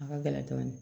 A ka gɛlɛn dɔɔnin